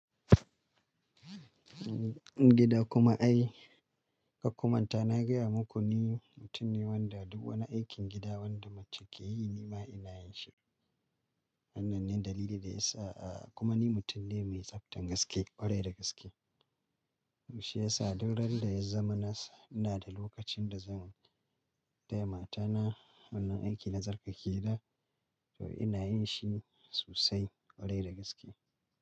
Gida kuma ai kar kumanta na gaya muku ni mutum ne wanda duk wani aikin gida wanda mace ke yi ni ma ina yin shi. Wannan ne dalili da ya sa a kuma ni mutum ne mai tsaftan gaske, ƙwarai da gaske. Shiyasa duk randa ya zama nasu ina da lokacin da zan dai matana wannan aiki na tsarkake gida to ina yin shi sosai ƙwarai da gaske.